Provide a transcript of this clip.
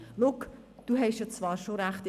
«Schau, du hast zwar schon recht.